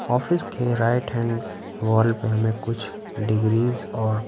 office के right- hand wall पेहमें कुछ डिग्री ज और--